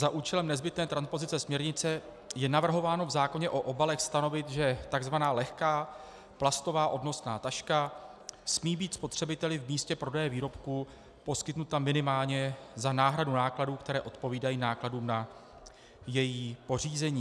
Za účelem nezbytné transpozice směrnice je navrhováno v zákoně o obalech stanovit, že tzv. lehká plastová odnosná taška smí být spotřebiteli v místě prodeje výrobku poskytnuta minimálně za náhradu nákladů, které odpovídají nákladům na její pořízení.